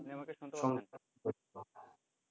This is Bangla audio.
আপনি আমাকে শুনতে পাচ্ছেন তো